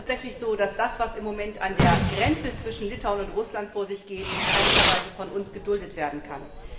Es ist tatsächlich so, dass das, was im Moment an der Grenze zwischen Litauen und Russland vor sich geht, in keinster Weise von uns geduldet werden kann.